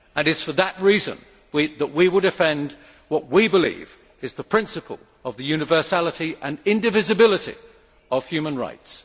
It is for that reason that we will defend what we believe is the principle of the universality and indivisibility of human rights.